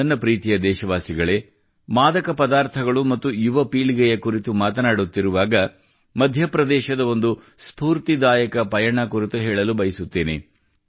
ನನ್ನ ಪ್ರೀತಿಯ ದೇಶವಾಸಿಗಳೇ ಮಾದಕ ಪದಾರ್ಥಗಳು ಮತ್ತು ಯುವ ಪೀಳಿಗೆಯ ಕುರಿತು ಮಾತನಾಡುತ್ತಿರುವಾಗ ಮಧ್ಯಪ್ರದೇಶದ ಒಂದು ಸ್ಫೂರ್ತಿದಾಯಕ ಪಯಣ ಕುರಿತು ಹೇಳಲು ಬಯಸುತ್ತೇನೆ